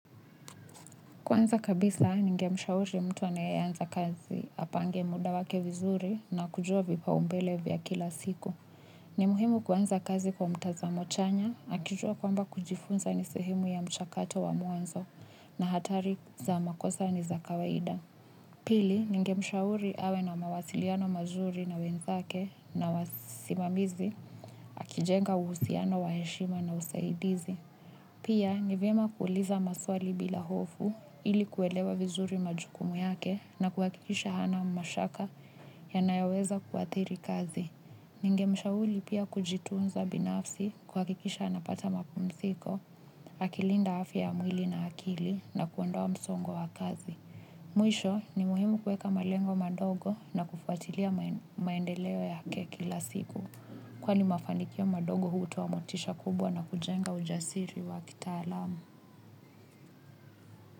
Kwanza kabisa, ningemshauri mtu anaye anza kazi, apange muda wake vizuri na kujua vipaumbele vya kila siku. Ni muhimu kuanza kazi kwa mtazamo chanya, akijua kwamba kujifunza ni sehemu ya mchakato wa mwanzo na hatari za makosa ni za kawaida. Pili ningemshauriawe na mawasilianoaziri na wenzake na wasimamizi akijenga uhusianonwa heshima na usaidizi. Pia ni vyema kuuliza maswali bila hofu ili kuelewa vizuri majukumu yake na kuhakikisha hana mashaka yanayoweza kuadhiri kazi. Ningemshauri pia kujitunza binafsi kuhakikisha anapata mapumziko, akilinda afya ya mwili na akili na kuondoa msongo wa kazi. Mwisho ni muhimu kueka malengo madogo na kufuatilia maendeleo yake kila siku. Kwani mafanikio madogo hutoa motisha kubwa na kujenga ujasiri wa kitaalamu.